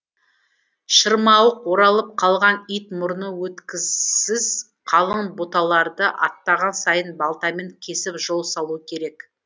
шырмауық оралып қалған ит мұрны өткісіз қалың бұталарды аттаған сайын балтамен кесіп жол салу керек